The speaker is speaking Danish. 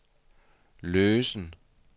løsen